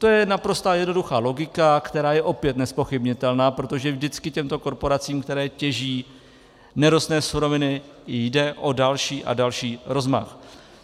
To je naprosto jednoduchá logika, která je opět nezpochybnitelná, protože vždycky těmto korporacím, které těží nerostné suroviny, jde o další a další rozmach.